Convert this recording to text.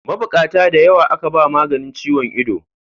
Mabukata da yawa aka ba maganin ciwon ido.